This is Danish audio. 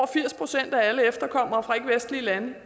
firs procent af alle efterkommere fra ikkevestlige lande